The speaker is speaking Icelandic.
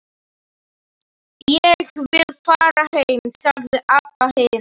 Ég vil fara heim, sagði Abba hin.